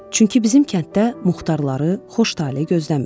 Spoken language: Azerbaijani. Çünki bizim kənddə muxtarları xoş tale gözləmir.